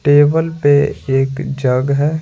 Table पे एक jug है।